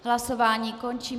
Hlasování končím.